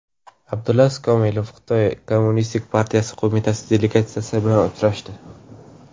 Abdulaziz Kamilov Xitoy Kommunistik partiyasi qo‘mitasi delegatsiyasi bilan uchrashdi.